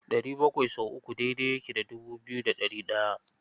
ɗari bakwai sau uku daidai yake da dubu biyu da ɗari ɗaya.